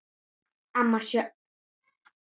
Amma Sjöfn.